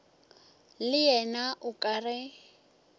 le yena o ka re